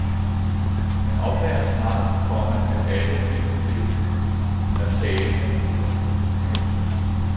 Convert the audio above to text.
Man opdager snart, komma at alle filmklippene er talende hoveder. punktum